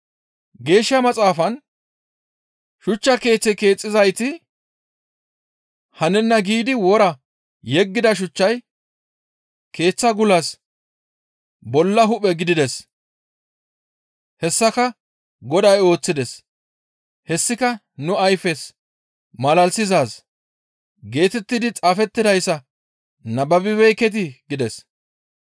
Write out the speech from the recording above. Geeshsha Maxaafan, ‹Shuchcha keeththe keexxizayti hanenna giidi wora yeggida shuchchay keeththa gulas bolla hu7e gidides; hessaka Goday ooththides. Hessika nu ayfes malalisizaaz geetettidi xaafettidayssa nababibeekketii?› » gides.